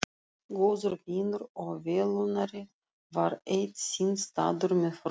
Góður vinur og velunnari var eitt sinn staddur með frú